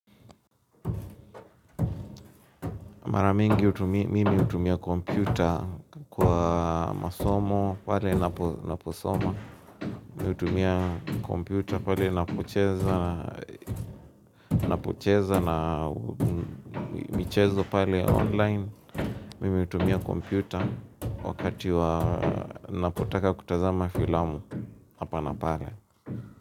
Mara mingi mimi hutumia, mimi utumia kompyuta kwa masomo pale na posoma. Mimi hutumia kompyuta pale napocheza, napocheza na michezo pale online. Mimi hutumia kompyuta wakati wa napotaka kutazama filamu hapa na pale.